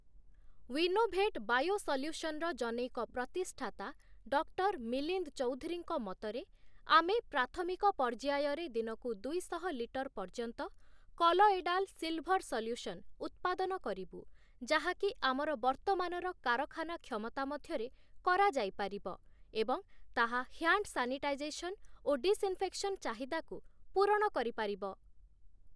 Winnovate ବାୟୋସଲ୍ୟୁସନ'ର ଜନୈକ ପ୍ରତିଷ୍ଠାତା ଡକ୍ଟର ମିଲିନ୍ଦ୍ ଚୌଧୁରୀଙ୍କ ମତରେ, ଆମେ ପ୍ରାଥମିକ ପର୍ଯ୍ୟାୟରେ ଦିନକୁ ଦୁଇଶହ ଲିଟର ପର୍ଯ୍ୟନ୍ତ 'କଲଏଡ଼ାଲ ସିଲ୍‌ଭର୍‌ ସଲ୍ୟୁସନ୍' ଉତ୍ପାଦନ କରିବୁ, ଯାହାକି ଆମର ବର୍ତ୍ତମାନର କାରଖାନା କ୍ଷମତା ମଧ୍ୟରେ କରାଯାଇପାରିବ ଏବଂ ତାହା ହ୍ୟାଣ୍ଡ ସାନିଟାଇଜେସନ୍ ଓ ଡିସ୍ଇନ୍‌ଫେକ୍ସନ ଚାହିଦାକୁ ପୂରଣ କରିପାରିବ ।